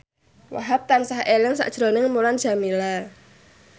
Wahhab tansah eling sakjroning Mulan Jameela